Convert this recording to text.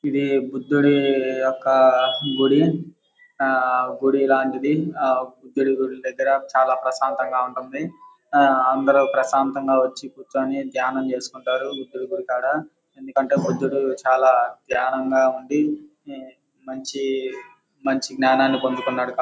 ఇది బుద్ధుడి యొక్క గుడి ఆ గుడి లాంటిది ఆ బుద్ధుడు గుడి దగ్గర చాలా ప్రశాంతంగా ఉంటుంది ఆ అందరూ ప్రశాంతంగా వచ్చి కూర్చొని ధ్యానం చేసుకుంటారు బుద్ధుడు గుడికాడ ఎందుకంటే బుద్దుడు చాలా ధ్యానంగా ఉండి మంచి మంచి జ్ఞానాన్ని పొందుకున్నాడు --